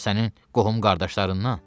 Ya sənin qohum-qardaşlarından?